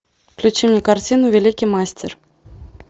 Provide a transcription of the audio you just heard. включи мне картину великий мастер